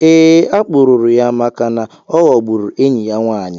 Eé, akpụrụrụ ya màkà na oghọgbụrụ enyi ya nwaanyị